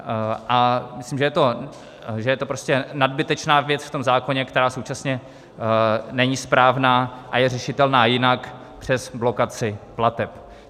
A myslím, že je to prostě nadbytečná věc v tom zákoně, která současně není správná a je řešitelná jinak přes blokaci plateb.